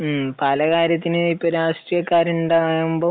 പലകാര്യത്തിന് ഇപ്പം രാഷ്ട്രീയക്കാർ ഉണ്ടാകുമ്പോൾ